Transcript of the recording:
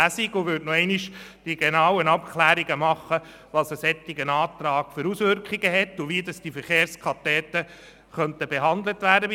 Man würde noch einmal die genauen Abklärungen zu den Auswirkungen des Antrags vornehmen und prüfen, wie die Verkehrskadetten in diesem Gesetz behandelt werden könnten.